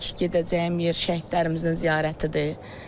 İlk gedəcəyim yer şəhidlərimizin ziyarətidir.